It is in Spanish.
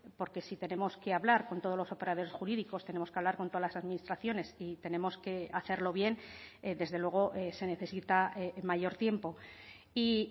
porque si tenemos que hablar con todos los operadores jurídicos tenemos que hablar con todas las administraciones y tenemos que hacerlo bien desde luego se necesita mayor tiempo y